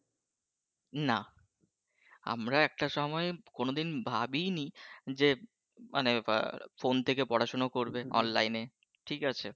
না আমরা একটা সময়ে কোনোদিন ভাবিই নি যে মানে যে ফোন থেকে পড়াশোনা করবে online এ ঠিক আছে?